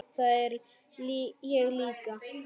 Það er ég líka